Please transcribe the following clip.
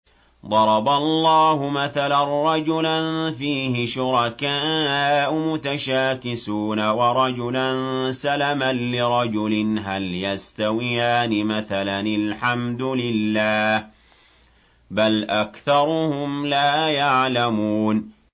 ضَرَبَ اللَّهُ مَثَلًا رَّجُلًا فِيهِ شُرَكَاءُ مُتَشَاكِسُونَ وَرَجُلًا سَلَمًا لِّرَجُلٍ هَلْ يَسْتَوِيَانِ مَثَلًا ۚ الْحَمْدُ لِلَّهِ ۚ بَلْ أَكْثَرُهُمْ لَا يَعْلَمُونَ